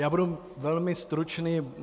Já budu velmi stručný.